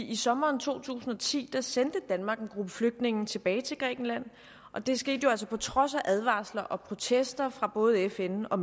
i sommeren to tusind og ti sendte danmark en gruppe flygtninge tilbage til grækenland og det skete altså på trods af advarsler og protester fra både fn og